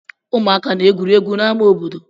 Ụmụaka na-egwuri egwu n'ámá obodo.